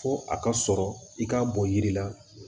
Fo a ka sɔrɔ i k'a bɔ yiri la